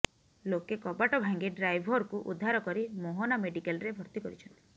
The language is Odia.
ଲୋକେ କବାଟ ଭାଙ୍ଗି ଡ୍ରାଇଭରକୁ ଉଦ୍ଧାର କରି ମୋହନା ମେଡିକାଲରେ ଭର୍ତ୍ତି କରିଛନ୍ତି